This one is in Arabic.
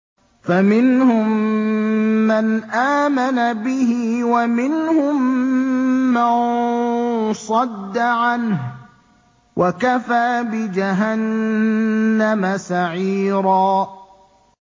فَمِنْهُم مَّنْ آمَنَ بِهِ وَمِنْهُم مَّن صَدَّ عَنْهُ ۚ وَكَفَىٰ بِجَهَنَّمَ سَعِيرًا